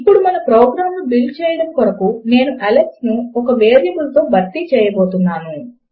ఇప్పుడు మన ప్రోగ్రామ్ ను బిల్డ్ చేయడము కొరకు నేను అలెక్స్ ను ఒక వేరియబుల్ తో భర్తీ చేయబోతున్నాను